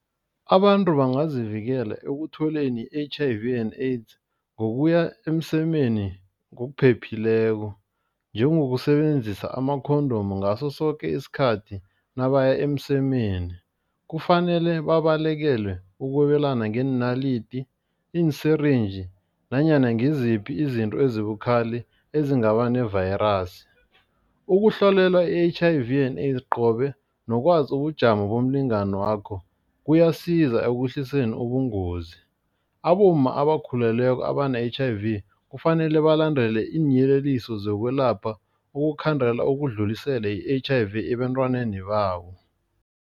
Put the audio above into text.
Abantu bangazivikela ekutholeni i-H_I_V and AIDS ngokuya emsemeni ngokuphephileko. Njengokusebenzisa ama-condom ngaso soke isikhathi nabaya emsemeni. Kufanele babalekele ukwabelana ngeenalidi, iinsirinji nanyana ngiziphi izinto ezibukhali ezingaba nevayirasi. Ukuhlolelwa i-H_I_V and AIDS qobe nokwazi ubujamo bomlingani wakho kuyasiza ekwehliseni ubungozi. Abomma abakhulelweko abane-H_I_V kufanele balandele iinyeleliso zokwelapha ukukhandela ukudlulisela i-H_I_V ebantwaneni babo.